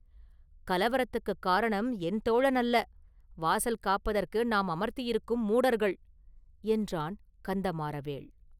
“கலவரத்துக்குக் காரணம் என் தோழன் அல்ல; வாசல் காப்பதற்கு நாம் அமர்த்தியிருக்கும் மூடர்கள்!” என்றான் கந்தமாறவேள்.